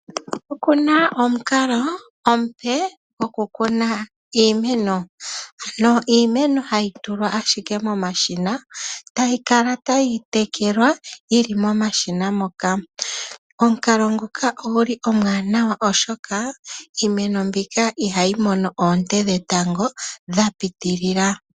Okuna omukalo omupe goku kuna iimeno. Ano iimeno hayi tulwa ashike momashina etayi kala tayi tekelwa yili momashina moka. Omukalo ngoka oguli omwaanawa oshoka iimeno mbika ihayi mono ooonte dhetango dha piitilila.